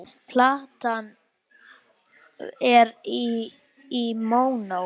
Platan er í mónó.